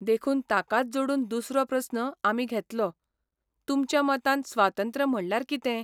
देखून ताकाच जोडून दुसरो प्रस्न आमी घेतलोः तुमच्या मतान स्वातंत्र्य म्हणल्यार कितें?